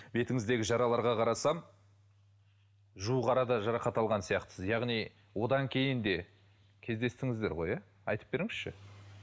бетіңіздегі жараларға қарасам жуық арада жарақат алған сияқтысыз яғни одан кейін де кездестіңіздер ғой иә айтып беріңізші